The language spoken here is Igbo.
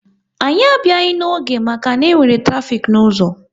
Anyị abịaghị n'oge maka na-enwere trafik n'ụzọ